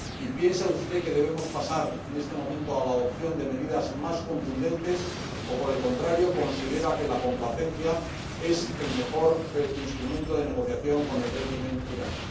¿Piensa usted que debemos pasar, en este momento, a la adopción de medidas más contundentes o, por el contrario, considera que la complacencia es el mejor instrumento de negociación con el régimen iraní?